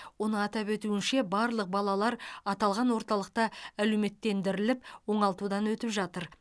оның атап өтуінше барлық балалар аталған орталықта әлеуметтендіріліп оңалтудан өтіп жатыр